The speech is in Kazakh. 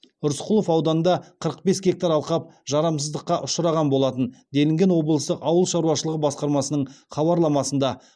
рысқұлов ауданында қырық бес гектар алқап жарамсыздыққа ұшыраған болатын делінген облыстық ауыл шаруашылық басқармасының хабарламасында